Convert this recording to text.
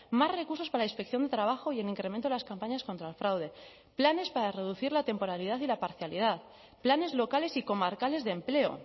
más recursos para la inspección de trabajo y el incremento de las campañas contra el fraude planes para reducir la temporalidad y la parcialidad planes locales y comarcales de empleo